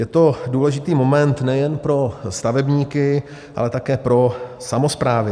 Je to důležitý moment nejen pro stavebníky, ale také pro samosprávy.